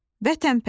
vətənpərvər,